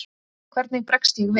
Hvernig bregst ég við?